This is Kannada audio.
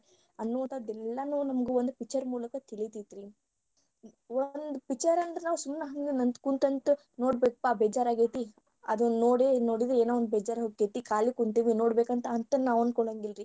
ಅನ್ನುವಂತಾದ ಎಲ್ಲಾನು ನಮಗ ಒಂದ picture ಮೂಲಕ ತಿಳಿತೇತಿ ರೀ ಒಂದ picture ಅಂದ್ರ ನಾವ ಸುಮ್ನ ಹಂಗ ಕುಂತ ಅಂತ ನೋಡ್ಬೇಕ್ಪಾ ಬೇಜಾರಾಗೆತಿ ಅದನ್ನ ನೋಡಿದ್ರ ಏನೋ ಒಂದ ಬೇಜಾರೋಕ್ಕೆತಿ ಖಾಲಿ ಕುಂತೇವಿ ನೋಡ್ಬೇಕ ಅಂತ ನಾವ ಅನ್ಕೋಳಂಗಿಲ್ಲರೀ.